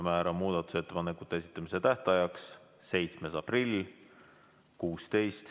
Määran muudatusettepanekute esitamise tähtajaks 7. aprilli kell 16.